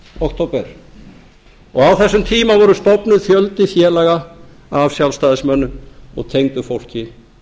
október á þessum tíma var stofnaður fjöldi félaga af sjálfstæðismönnum og tengdu fólki